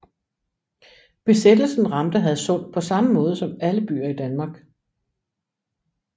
Besættelsen ramte Hadsund på samme måde som alle byer i Danmark